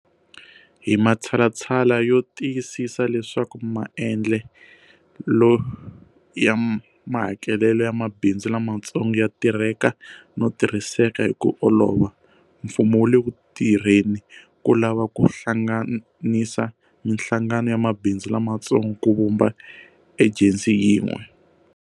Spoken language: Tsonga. Hi matshalatshala yo ti yisisa leswaku maendlelo ya mahakelelo ya mabindzu lamatsongo ya tirheka no tirhiseka hi ku olova, mfumo wu le ku tirheni ko lava ku hlanganisa mihlangano ya mabindzu lamatsongo ku vumba ejensi yin'we.